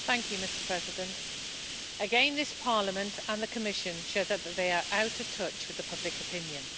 Mr President, again this Parliament and the Commission show that they are out of touch with the public opinion.